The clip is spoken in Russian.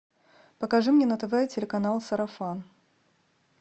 покажи мне на тв телеканал сарафан